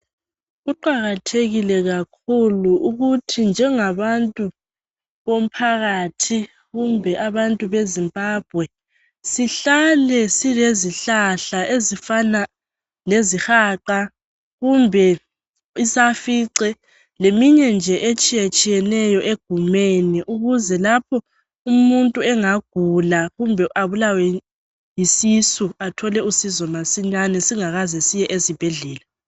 Kuqakathekile kakhulu ukuthi njengabantu bomphakathi kumbe abantu beZimbabwe sihlale silezihlahla ezifana lesihaqa, kumbe isafice, leminye nje etshiyetshiyeneyo egumeni ukuze lapho umuntu engagula kumbe abulawe yisisu, athole usizo masinyane singakaze siye ezibhedlela.